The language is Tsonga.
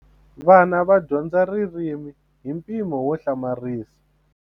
Vana va dyondza ririmi hi mpimo wo hlamarisa.